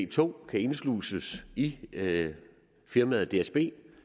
tog kan indsluses i firmaet dsb